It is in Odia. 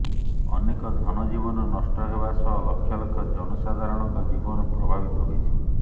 ଅନେକ ଧନଜୀବନ ନଷ୍ଟ ହେବା ସହ ଲକ୍ଷ ଲକ୍ଷ ଜନସାଧାରଣଙ୍କ ଜୀବନ ପ୍ରଭାବିତ ହୋଇଛି